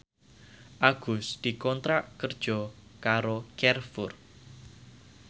Agus dikontrak kerja karo Carrefour